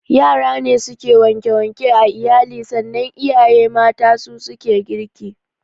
Yara ne suke wanke wanke a iyali sannan iyaye mata su suke girki